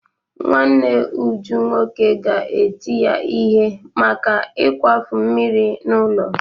Nwanne Uju nwoke ga-eti ya ihe maka ịkwafu mmiri n'ụlọ.